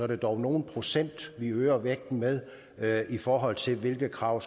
det dog nogle procent vi øger vægten med med i forhold til hvilke krav